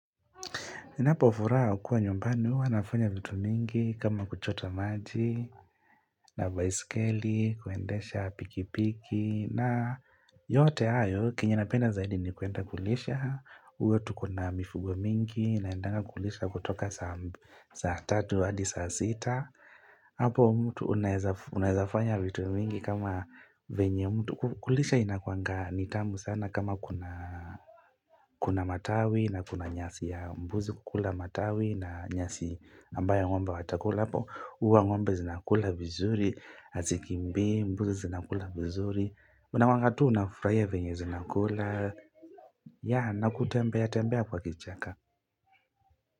Ninapofuraha kuwa nyumbani uwa nafanya vitu mingi kama kuchota maji na baisikeli kuendesha pikipiki na yote ayo kinyenapenda zaidi ni kuenda kulisha uwa tuko na mifugo mingi naendanga kulisha kutoka saa 3 hadi saa 6 Apo mtu unaezafanya vitu mingi kama venye mtu. Kulisha inakuanga ni tamu sana kama kuna matawi na kuna nyasi ya mbuzi kukula matawi na nyasi ambayo ng'ombe watakula. Apo huwa ng'ombe zinakula vizuri, azikimbi mbuzi zinakula vizuri. Unawagawa tu unafurahia venye zinakula. Ya, nakutembea tembea kwa kichaka.